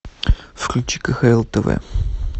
включи кхл тв